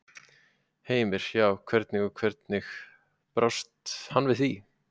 Heimir: Já, hvernig, og hvernig brást hann við?